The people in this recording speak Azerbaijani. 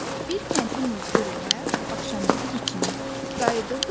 Bir kəndli muzdur ilə axşamüstü biçindən qayıdırdı evinə.